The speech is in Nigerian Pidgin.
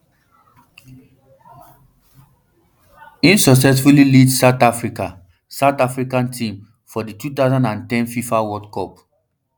im successfully lead south africa south africa team for di two thousand and ten fifa world cup